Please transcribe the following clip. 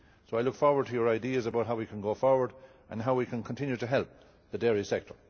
I look forward to Members' ideas about how we can go forward and how we can continue to help the dairy sector.